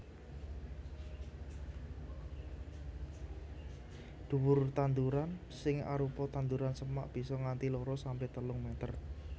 Dhuwur tanduran sing arupa tanduran semak bisa nganti loro sampe telung meter